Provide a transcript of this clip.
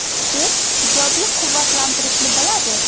U ijobiy quvvatlantirishni biladi!